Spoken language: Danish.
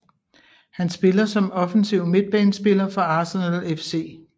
Han spiller som offensiv midtbanespiller for Arsenal FC